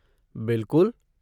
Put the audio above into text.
बिलकुल!